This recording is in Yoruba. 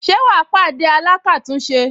Ṣé wà á pàdé alákàtúnṣe